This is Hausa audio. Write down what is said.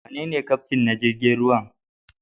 Wanene Kyaftin na jirigin ruwan?